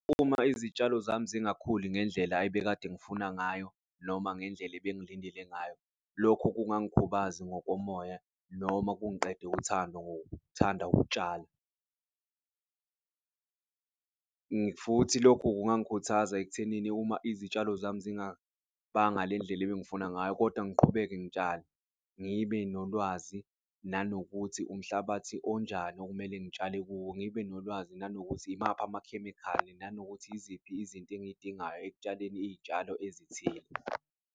Uma izitshalo zami zingakhuli ngendlela ebekade ngifuna ngayo noma ngendlela ebengilindele ngayo, lokho kungangikhubaza ngokomoya noma kungiqede uthando ngokuthanda ukutshala futhi lokho kungangikhuthaza ekuthenini uma izitshalo zami zingabanga ngalendlela ebengifuna ngayo kodwa ngiqhubeke ngitshale, ngibe nolwazi nanokuthi umhlabathi onjani okumele ngitshale. Ngibe nolwazi nanokuthi imaphi amakhemikhali, nanokuthi yiziphi izinto engiy'dingayo ekutshaleni iy'tshalo ezithile.